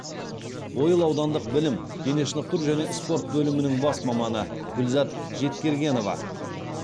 ойыл аудандық білім дене шынықтыру және спорт бөлімінің бас маманы гүлзат жеткергенова